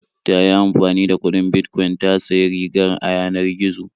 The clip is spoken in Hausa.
Ta yi amfani da kuɗin Bitcoin ta sayi riga a yanar gizo.